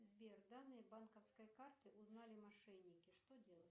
сбер данные банковской карты узнали мошенники что делать